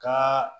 Ka